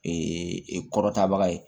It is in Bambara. Ee kɔrɔta baga ye